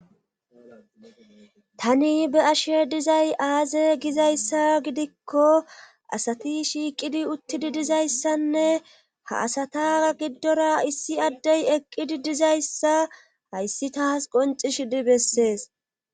tani be'ashe dizay aaze gizayssa gidikko asati shiiqidi uttidi dizayssanne ha asata giddora issi addey eqqidi dizayssa hayssi taas qoncishidi bessees